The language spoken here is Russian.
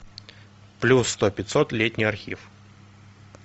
плюс сто пятьсот летний архив